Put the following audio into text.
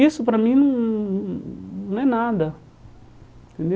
Isso para mim não não é nada.